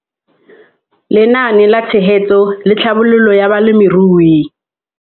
Lenaane la Tshegetso le Tlhabololo ya Balemirui